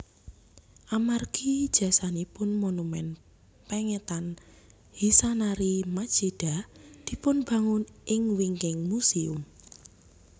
Amargi jasanipun monumen pengetan Hisanari Machida dipunbangun ing wingking muséum